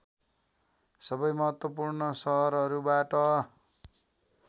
सबै महत्त्वपूर्ण सहरहरूबाट